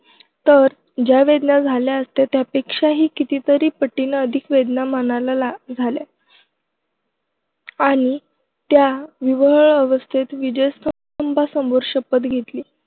तर ज्या वेदना झाल्या असत्या त्यापेक्षाही कितीतरी पटीनं अधिक वेदना मनाला ला झाल्या. आणि त्या विव्हळ अवस्थेत विजयस्तंभासमोर शपथ घेतली.